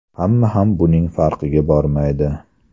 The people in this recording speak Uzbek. Hamma ham buning farqiga bormaydi.